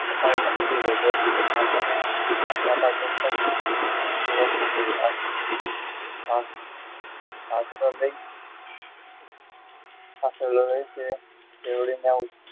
ઉપાડીને મૂકી દીધો ડોશી એ છાપરા પર આંછડો લઈ